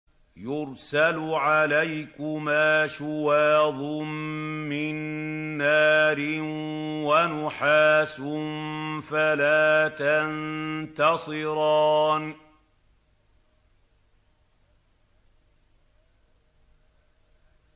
يُرْسَلُ عَلَيْكُمَا شُوَاظٌ مِّن نَّارٍ وَنُحَاسٌ فَلَا تَنتَصِرَانِ